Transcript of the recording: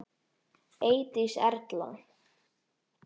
Eydís Erla.